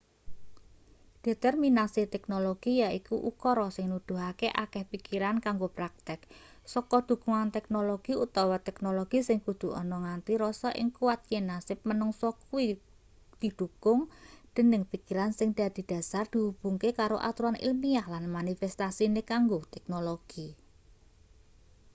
determinasi teknologi yaiku ukara sing nuduhake akeh pikiran kanggo praktek saka dhukungan-teknologi utawa teknologi sing kudu ana nganti rasa sing kuwat yen nasib manungsa kuwi didhukung dening pikiran sing dadi dhasar dihubungke karo aturan ilmiah lan manifestasine kanggo teknologi